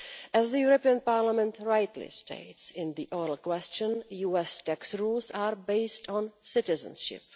As Parliament rightly states in the oral question, US tax rules are based on citizenship.